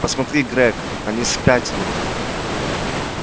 посмотри грег они спятили